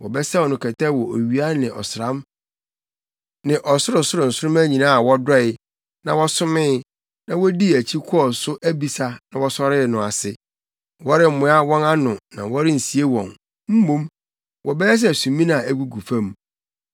Wɔbɛsɛw no kɛtɛ wɔ owia ne ɔsram ne ɔsorosoro nsoromma nyinaa a wɔdɔe, na wɔsomee, na wodii akyi kɔɔ so abisa na wɔsɔree no ase. Wɔremmoa wɔn ano na wɔrensie wɔn; mmom, wɔbɛyɛ sɛ sumina a egugu fam.